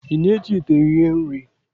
Ị na-eji ite ihe-nri?